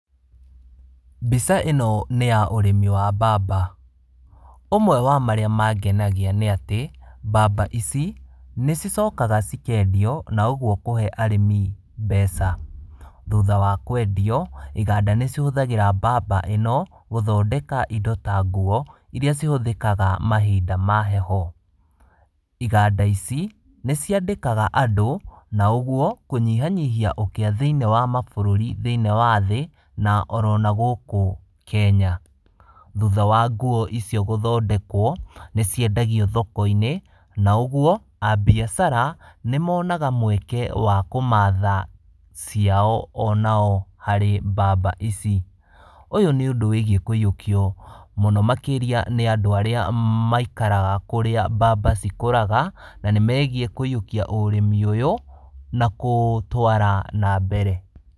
Mbica ĩno nĩ ya ũrĩmi wa mbamba. Ũmwe wa marĩa mangenagia nĩ atĩ, mbamba ici, nĩ cicokaga cikendio na ũguo kũhe arĩmi mbeca. Thutha wa kwendio, iganda nĩ cihũthagĩra mbamba ĩno gũthondeka indo ta nguo, iria cihũthĩkaga mahinda ma heho. Iganda ici nĩ ciandĩkaga andũ na ũguo kũnyihanyihia ũkĩa thĩiniĩ wa mabũrũri thĩiniĩ wa thĩ, na oro na gũkũ Kenya. Thutha wa nguo icio gũthondekwo nĩciendagio thoko-inĩ, na ũguo a mbiacara nĩ monaga mweke wa kũmatha ciao onao harĩ mbamba ici. Ũyũ nĩ ũndũ wĩgiĩ kũyũkio mũno makĩria nĩ andũ arĩa maikaraga kũrĩa mbamba cikũraga, na nĩmegiĩ kũyũkia ũrĩmi ũyũ na kũũtwara mbere.